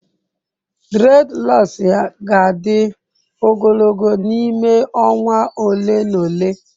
Dreadlocks ya ga-adị ogologo n'ime ọnwa ole na ole.